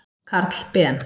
Karl Ben.